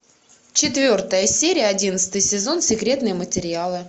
четвертая серия одиннадцатый сезон секретные материалы